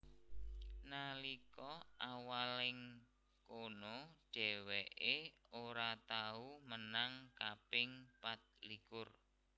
Nalika awal ing kono dhèwèkè ora tau menang kaping patlikur